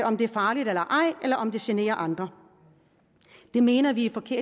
om det er farligt eller ej eller om det generer andre det mener vi